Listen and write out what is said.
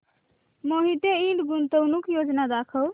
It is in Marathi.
मोहिते इंड गुंतवणूक योजना दाखव